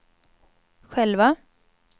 själva